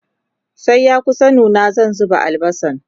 sai ya kusa nuna zan zuba albasan